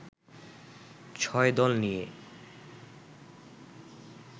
৬ দল নিয়ে